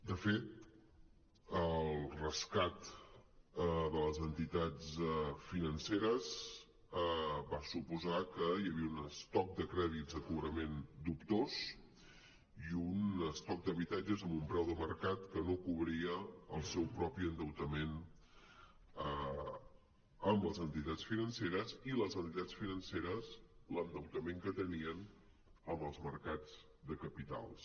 de fet el rescat de les entitats financeres va suposar que hi havia un estoc de crèdits de cobrament dubtós i un estoc d’habitatges a un preu de mercat que no cobria el seu propi endeutament amb les entitats financeres i les entitats financeres l’endeutament que tenien amb els mercats de capitals